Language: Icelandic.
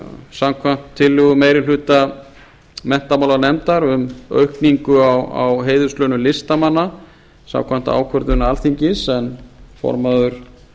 samkvæmt tillögu meiri hluta menntamálanefndar um aukningu á heiðurslaunum listamanna samkvæmt ákvörðun alþingis en formaður